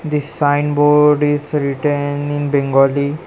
This sign board is written in bengali.